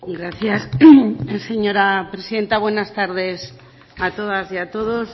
gracias señora presidenta buenas tardes a todas y a todos